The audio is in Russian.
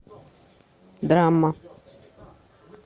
драма